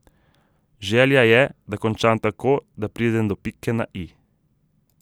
Želja je, da končam tako, da pridem do pike na i.